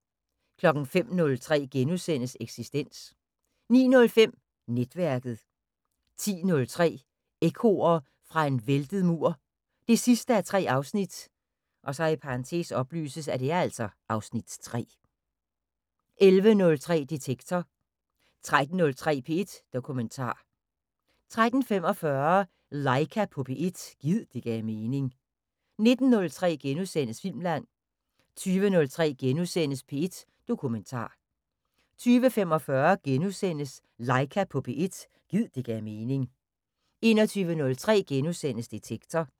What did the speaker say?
05:03: Eksistens * 09:05: Netværket 10:03: Ekkoer fra en væltet mur 3:3 (Afs. 3) 11:03: Detektor 13:03: P1 Dokumentar 13:45: Laika på P1 – gid det gav mening 19:03: Filmland * 20:03: P1 Dokumentar * 20:45: Laika på P1 – gid det gav mening * 21:03: Detektor *